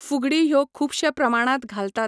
फुगडी ह्यो खुबशे प्रमाणांत घालतात.